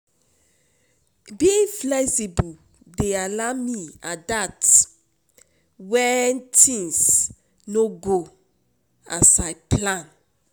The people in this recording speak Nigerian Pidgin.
Being flexible dey allow me adapt when things no go as I as I plan.